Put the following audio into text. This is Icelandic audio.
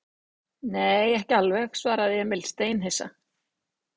Nei, ekki alveg, svaraði Emil steinhissa.